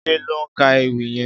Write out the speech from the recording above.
Jide lò n kà Éwì yèn